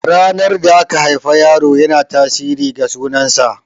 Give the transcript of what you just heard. Ranar da aka haifi yaro yana tasirin ga sunan sa.